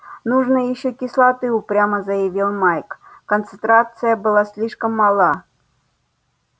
нужно ещё кислоты упрямо заявил майк концентрация была слишком мала